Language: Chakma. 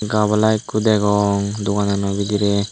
gabala ikko degong doganano bidirey.